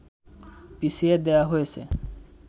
পিছিয়ে দেয়া হয়েছে